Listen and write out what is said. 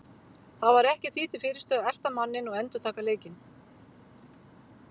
Það var ekkert því til fyrirstöðu að elta manninn og endurtaka leikinn.